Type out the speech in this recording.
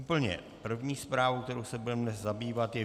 Úplně první zprávou, kterou se budeme zabývat, je